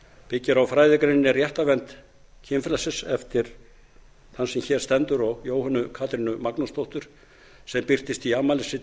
byggir á fræðigreininni réttarvernd kynfrelsis eftir þann sem hér stendur og jóhönnu katrínu magnúsdóttur sem birtist í afmælisriti